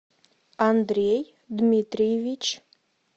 андрей дмитриевич